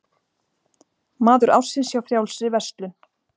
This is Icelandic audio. Maður ársins hjá Frjálsri verslun